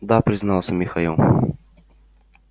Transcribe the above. да признался михаил